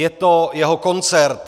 Je to jeho koncert.